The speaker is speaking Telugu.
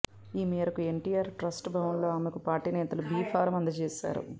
ఈ మేరకు ఎన్టీఆర్ ట్రస్ట్ భవన్లో ఆమెకు పార్టీ నేతలు బీఫారం అందజేశారు